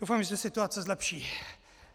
Doufám, že se situace zlepší.